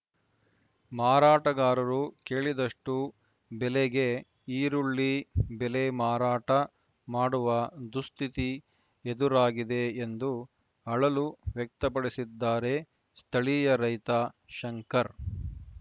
ಮಾರಾಟಗಾರರು ಕೇಳಿದಷ್ಟುಬೆಲೆಗೆ ಈರುಳ್ಳಿ ಬೆಳೆ ಮಾರಾಟ ಮಾಡುವ ದುಸ್ಥಿತಿ ಎದುರಾಗಿದೆ ಎಂದು ಅಳಲು ವ್ಯಕ್ತಪಡಿಸಿದ್ದಾರೆ ಸ್ಥಳೀಯ ರೈತ ಶಂಕರ್‌